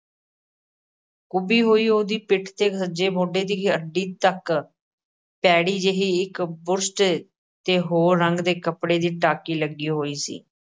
ਕੁੱਬੀ ਹੋਈ ਉਹਦੀ ਪਿੱਠ 'ਤੇ ਸੱਜੇ ਮੋਢੇ ਦੀ ਹੱਡੀ ਤੱਕ, ਭੈੜੀ ਜਿਹੀ ਇੱਕ ਬੁਸ਼ਰਟ 'ਤੇ ਹੋਰ ਰੰਗ ਦੇ ਕੱਪੜੇ ਦੀ ਟਾਕੀ ਲੱਗੀ ਹੋਈ ਸੀ।